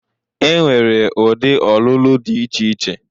E nwere ụdị ọlụlụ dị iche iche.